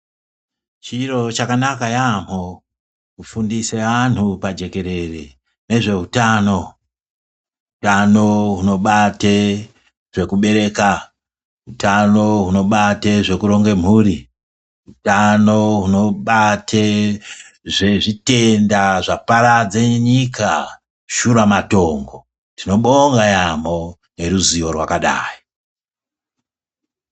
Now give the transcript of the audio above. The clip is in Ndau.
Chiro chakanaka yaambo kufundise antu pajekerere nezveutano, utano hwunobate zvekubereka utano hunobate zvekuronge mhuri utano hwunobate zvezvitenda zvaparadze nyika shuramatongo tinobonga yaambo neruzivo rwakadayi .